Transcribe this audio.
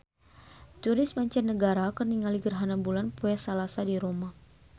Turis mancanagara keur ningali gerhana bulan poe Salasa di Roma